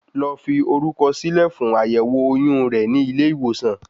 Lọ fi orúkọ sí lè fún àyẹ́wò oyún re ni ilé ìwòsàn